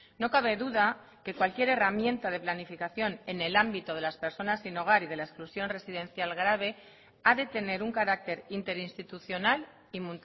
no cabe duda que cualquier herramienta de planificación en el ámbito de las personas sin hogar y de la exclusión residencial grave ha de tener un carácter interinstitucional y